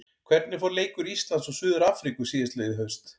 Hvernig fór leikur Íslands og Suður-Afríku síðastliðið haust?